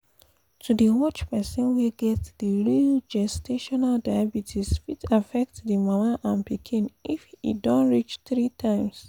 to dey watch persin wey get the real gestational diabetes fit affect the mama and pikin if e don reach three times